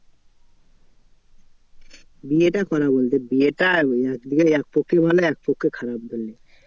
বিয়েটা করা বলতে বিয়েটা বিয়ে একপক্ষে ভালো একপক্ষে খারাপ ধরলে।